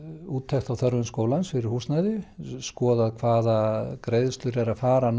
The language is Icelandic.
úttekt á þörfum skólans fyrir húsnæði skoða hvaða greiðslur eru að fara